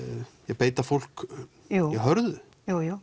að beita fólk hörðu jú jú